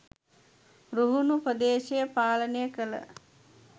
රුහුණු ප්‍රදේශය පාලනය කළ